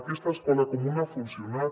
aquesta escola comuna ha funcionat